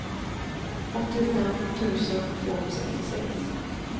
åttiofem tusen tvåhundrasextiosex